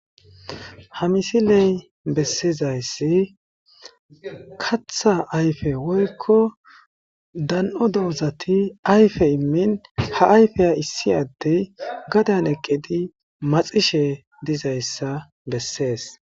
Ha missileza bolla bettizayiss kaththa ayfe woyikko dan"o dozat ayfe imin maxishshe dizayissa besses